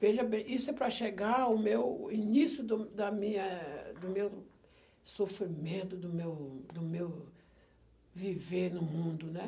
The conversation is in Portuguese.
Veja bem, isso é para chegar ao meu início do da minha do meu sofrimento, do meu do meu viver no mundo, né?